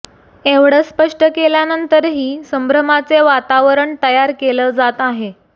एवढं स्पष्ट केल्यानंतरही संभ्रमाचे वातावरण तयार केलं जात आहे